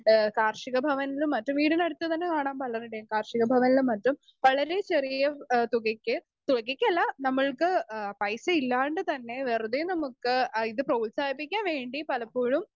speaker 2 ഏഹ് കാർഷികഭവനിൽ നിന്നും മറ്റും വീടിനടുത്തുതന്നെ കാണാം പലരുടേം കാർഷികഭവനീളും മറ്റും വളരെ ചെറിയ ആഹ് തുകയ്ക്ക് തുകയ്ക്കല്ല നമ്മൾക്ക് ആഹ് പൈസയില്ലാണ്ട് തന്നെ വെറുതെ നമുക്ക് ആഹ് ഇത് പ്രോത്സാഹിപ്പിക്കാൻവേണ്ടി പലപ്പോഴും